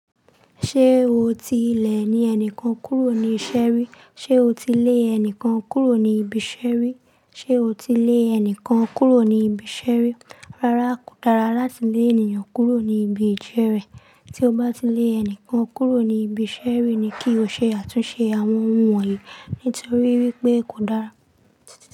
Ṣé o ti lè ẹnìkan kúrò ní ìṣeri? Ṣé o ti lé ẹnìkan kúrò ní ibi ìṣeri? Ṣé o ti lé ẹnìkan kúrò ní ibi ìṣẹri? Rárá, kò dára láti lé ènìyàn kúrò ní ibi ìjẹ́rẹ́. Tí o bá ti lé ẹnìkan kúrò ní ibi ìṣeri ni kí o ṣe àtúnṣe àwọn ohun wọ̀nyí, nítorí wípé kò dára.